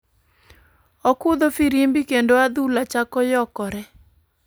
Okudho firimbi kendo adhula chako yokore.